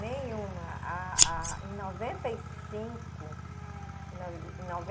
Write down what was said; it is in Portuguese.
Nenhuma. A, a, em noventa e cinco. Hum.